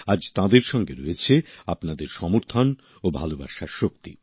আজ তাঁদের সঙ্গে রয়েছে আপনাদের সমর্থন ও ভালোবাসার শক্তি